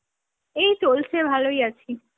এই চলছে, ভালই আছি।